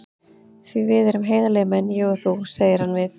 Því við erum heiðarlegir menn, ég og þú, segir hann við